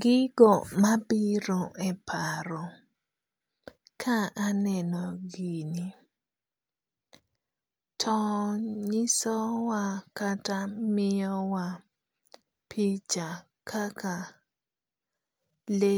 Gigo mabiro e paro ka aneno gini to nyiso wa kata miyo wa picha kaka le